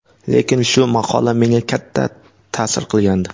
Lekin shu maqola menga katta ta’sir qilgandi.